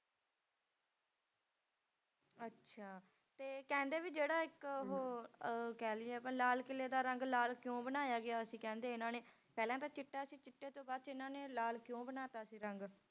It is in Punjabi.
ਅੱਛਾ ਤੇ ਕਹਿੰਦੇ ਵੀ ਜਿਹੜਾ ਇੱਕ ਉਹ ਅਹ ਕਹਿ ਲਈਏ ਲਾਲ ਕਿਲ੍ਹੇ ਦਾ ਰੰਗ ਲਾਲ ਕਿਉਂ ਬਣਾਇਆ ਗਿਆ ਸੀ ਕਹਿੰਦੇ ਇਹਨਾਂ ਨੇ ਪਹਿਲਾਂ ਤਾਂ ਚਿੱਟਾ ਸੀ ਚਿੱਟੇ ਤੋਂ ਬਾਅਦ 'ਚ ਇਹਨਾਂ ਨੇ ਲਾਲ ਕਿਉਂ ਬਣਾ ਦਿੱਤਾ ਸੀ ਰੰਗ?